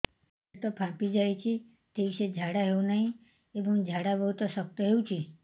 ପେଟ ଫାମ୍ପି ଯାଉଛି ଠିକ ସେ ଝାଡା ହେଉନାହିଁ ଏବଂ ଝାଡା ବହୁତ ଶକ୍ତ ହେଉଛି